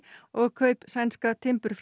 og kaup sænska